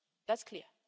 That's clear.